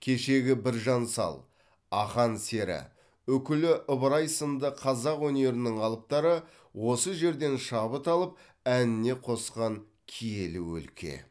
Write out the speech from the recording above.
кешегі біржан сал ақан сері үкілі ыбырай сынды қазақ өнерінің алыптары осы жерден шабыт алып әніне қосқан киелі өлке